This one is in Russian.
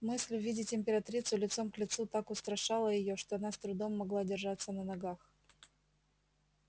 мысль увидеть императрицу лицом к лицу так устрашала её что она с трудом могла держаться на ногах